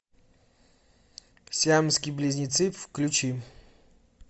сиамские близнецы включи